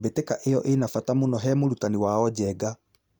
Mbĩtĩka ĩo ĩna bata mũno he mũrutani wao Njenga.